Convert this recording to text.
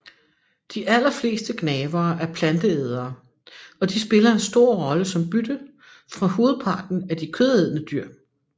De aller fleste gnavere er planteædere og de spiller en stor rolle som bytte for hovedparten af de kødædende dyr